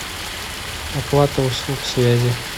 оплата услуг связи